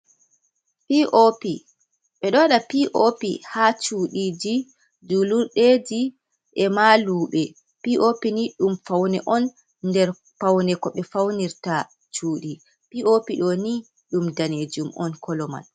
Pop ɓe ɗowada pop ha cudiji julurdeji, e maluɓe pop ni dum faune on nder faune ko ɓe faunirta cudi pop do ni dum danejum on koloman.